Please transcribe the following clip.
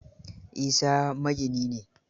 Isa magini ne.